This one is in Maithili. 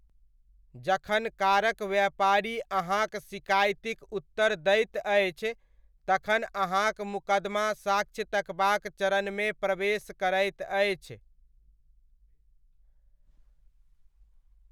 जखन कारक व्यापारी अहाँक सिकाइतिक उत्तर दैत अछि, तखन अहाँक मुकदमा साक्ष्य तकबाक चरणमे प्रवेश करैत अछि।